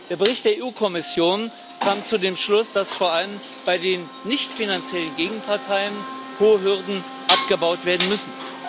Der Bericht der EU Kommission kam zu dem Schluss, dass vor allem bei den nichtfinanziellen Gegenparteien hohe Hürden abgebaut werden müssen.